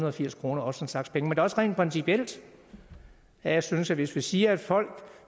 og firs kroner også en slags penge men også rent principielt at jeg synes det hvis vi siger at folk